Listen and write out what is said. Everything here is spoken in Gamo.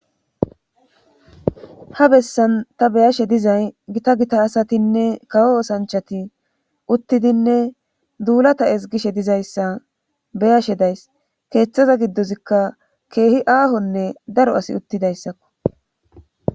Ha besan ta beyashe diza gita gita asatine kawo osanchati uttidinne dilata ezigishe dizaysa beyashe daysi kethaza gidozika kehi ahone daro asiy uttidaysako